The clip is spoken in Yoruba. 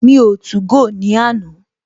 Mi o 2go ní àná